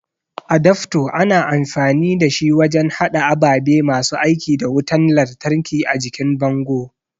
adafto ana amfani dashi wajen hada ababe masu aiki da wutan lantraki a jikin bango